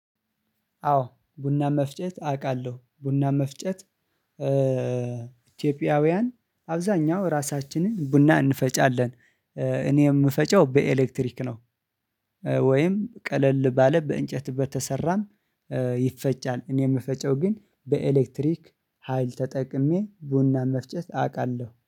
አዎ ቡና መፍጨት አቃለሁ ቡና መፍጨት ኢትዮጵያውያን አብዛኛው ራሳችንን ቡና እንፈጫለን። እኔ የምፈጨው በኤሌክትሪክ ነው። ወይም ቀለል ባለ በእንጨት በተሰራም ይፈጫል እኔ የምፈጨው ግን በኤሌክትሪክ ሀይል ተጠቅሜ ቡናን መፍጨት አቃለሁ